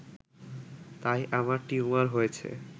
তাই আমার টিউমার হয়েছে